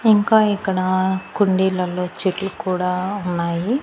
ఇంకా ఇక్కడ కుండీలలో చెట్లు కూడా ఉన్నాయి.